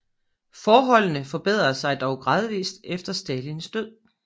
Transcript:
Forholdene bedrede sig dog gradvist efter Stalins død